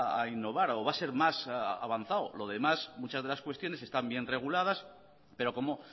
a innovar o va a ser más avanzado lo demás muchas de las cuestiones están bien reguladas pero como